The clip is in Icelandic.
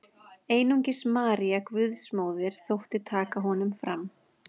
Einungis María Guðsmóðir þótti taka honum fram.